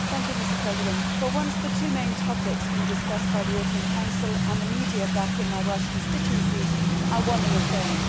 Mr President, for once the two main topics being discussed by the European Council and the media back in my Welsh constituency are one and the same.